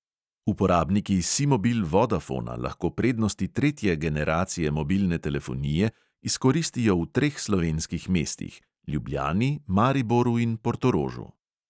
Uporabniki simobil-vodafona lahko prednosti tretje generacije mobilne telefonije izkoristijo v treh slovenskih mestih: ljubljani, mariboru in portorožu.